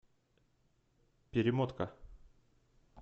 перемотка